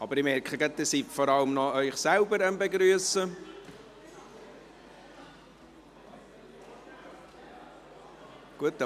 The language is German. Ich merke, dass Sie sich vor allem noch selbst begrüssen. .)